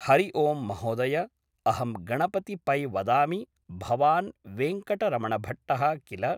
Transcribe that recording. हरि ओम् महोदय अहं गणपति पै वदामि भवान् वेङ्कटरमणभट्टः किल